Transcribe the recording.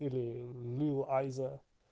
или ну его айза